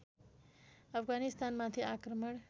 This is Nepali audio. अफगानिस्तानमाथि आक्रमण